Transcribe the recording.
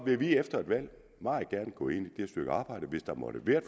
vil vi efter et valg meget gerne gå ind i det stykke arbejde hvis der måtte være